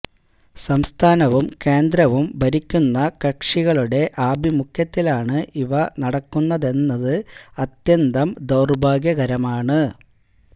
സംസ്ഥാനവും കേന്ദ്രവും ഭരിക്കുന്ന കക്ഷികളുടെ ആഭിമുഖ്യത്തിലാണ് ഇവ നടക്കുന്നതെന്നത് അത്യന്തം ദൌര്ഭാഗ്യകരമാണ്